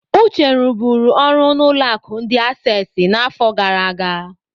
Uche ruburu ọrụ n'ụlọ akụ ndi Assesi n'afọ gara aga.